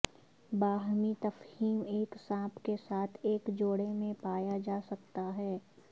باہمی تفہیم ایک سانپ کے ساتھ ایک جوڑے میں پایا جا سکتا ہے